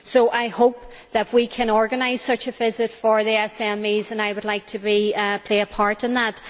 I hope that we can organise such a visit for the SMEs and I would like to play a part in that.